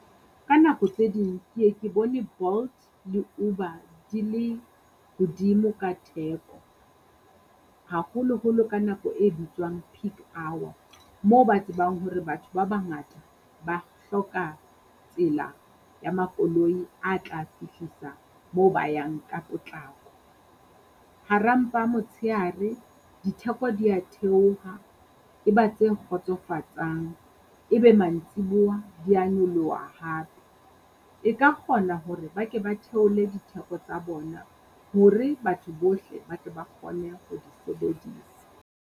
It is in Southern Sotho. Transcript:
Ka nako tse ding ke ye ke bone Bolt le Uber di le hodimo ka theko, haholoholo ka nako e bitswang peak hour, moo ba tsebang hore batho ba bangata ba hloka tsela ya makoloi a tla fihlisa moo ba yang ka potlako. Hara mpa motshehare ditheko dia theoha e ba tse kgotsofatsang, ebe mantsibuwa dia nyoloha hape. E ka kgona hore ba ke ba theole ditheko tsa bona hore batho bohle batho ba kgone ho di sebedisa.